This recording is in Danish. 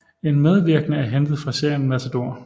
En medvirkende er hentet fra serien Matador